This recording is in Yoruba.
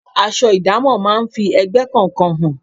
Aṣọ idamo máa ń fi ẹgbẹ́ kọ̀ọ̀kan hàn.